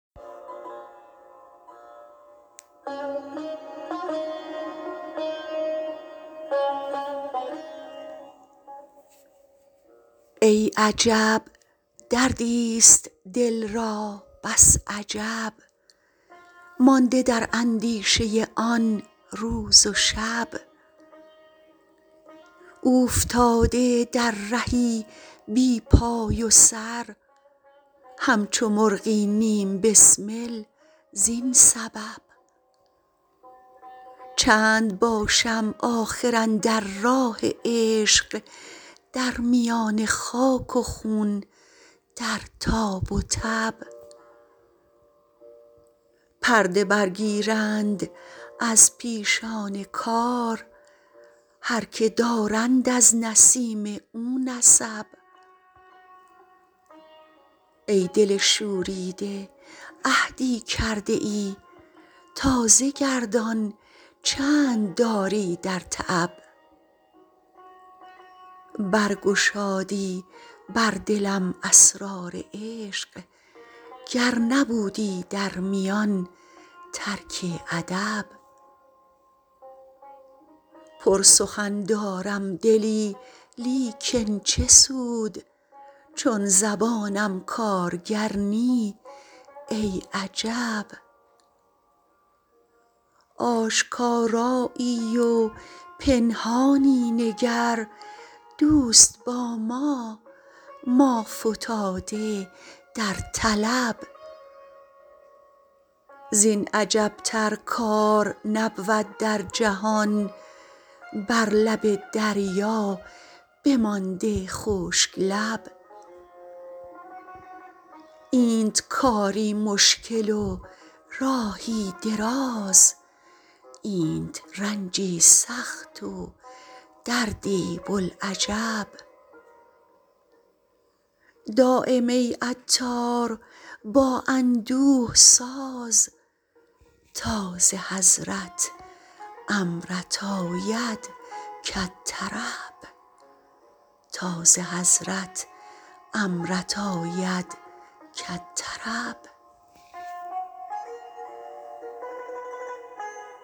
ای عجب دردی است دل را بس عجب مانده در اندیشه آن روز و شب اوفتاده در رهی بی پای و سر همچو مرغی نیم بسمل زین سبب چند باشم آخر اندر راه عشق در میان خاک و خون در تاب و تب پرده برگیرند از پیشان کار هر که دارند از نسیم او نسب ای دل شوریده عهدی کرده ای تازه گردان چند داری در تعب برگشادی بر دلم اسرار عشق گر نبودی در میان ترک ادب پر سخن دارم دلی لیکن چه سود چون زبانم کارگر نی ای عجب آشکارایی و پنهانی نگر دوست با ما ما فتاده در طلب زین عجب تر کار نبود در جهان بر لب دریا بمانده خشک لب اینت کاری مشکل و راهی دراز اینت رنجی سخت و دردی بوالعجب دایم ای عطار با اندوه ساز تا ز حضرت امرت آید کالطرب